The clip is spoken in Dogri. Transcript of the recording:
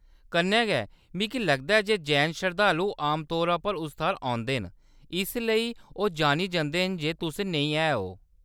कन्नै गै, मिगी लगदा ऐ जे जैन शरधालू आमतौरा पर उस थाह्‌‌‌र औंदे न इसलेई ओह्‌‌ जान्नी जंदे जे तुस नेईं हैओ।